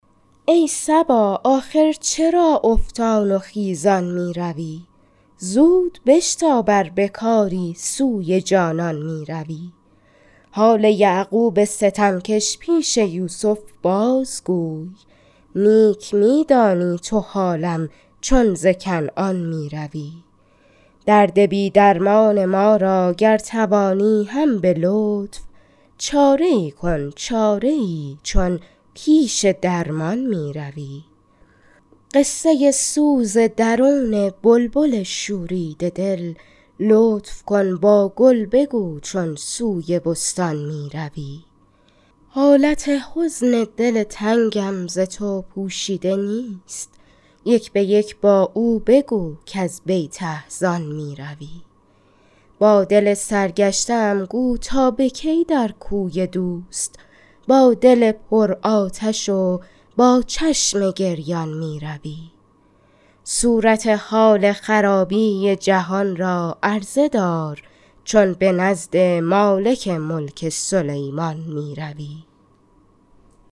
ای صبا آخر چرا افتان و خیزان می روی زود بشتاب ار به کاری سوی جانان می روی حال یعقوب ستمکش پیش یوسف بازگوی نیک می دانی تو حالم چون ز کنعان می روی درد بی درمان ما را گر توانی هم به لطف چاره ای کن چاره ای چون پیش درمان می روی قصه سوز درون بلبل شوریده دل لطف کن با گل بگو چون سوی بستان می روی حالت حزن دل تنگم ز تو پوشیده نیست یک به یک با او بگو کز بیت احزان می روی با دل سرگشته ام گو تا به کی در کوی دوست با دل پر آتش و با چشم گریان می روی صورت حال خرابی جهان را عرضه دار چون به نزد مالک ملک سلیمان می روی